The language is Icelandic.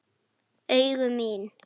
Allt sem máli skipti.